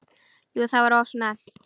Jú það var of snemmt.